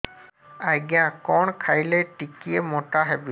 ଆଜ୍ଞା କଣ୍ ଖାଇଲେ ଟିକିଏ ମୋଟା ହେବି